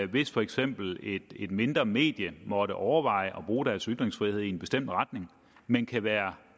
hvis for eksempel et mindre medie måtte overveje at bruge deres ytringsfrihed i en bestemt retning men kan være